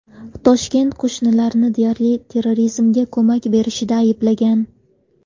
Toshkent qo‘shnilarni deyarli terrorizmga ko‘mak berishida ayblagan.